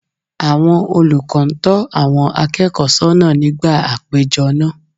Àwọn olùkọ́ ń tọ́ àwọn akẹ́kọ̀ọ́ sọ́nà nígbà àpéjọ náà